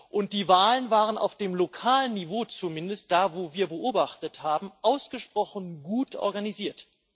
Und die Wahlen waren auf dem lokalen Niveau, zumindest da, wo wir beobachtet haben, ausgesprochen gut organisiert.